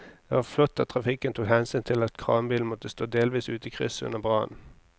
Det var flott at trafikken tok hensyn til at kranbilen måtte stå delvis ute i krysset under brannen.